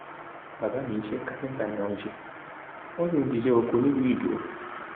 bàbá mi iṣẹ káfíńtà ni wọn ń ṣe wọn sì ń ṣiṣẹ oko ní ìlú idow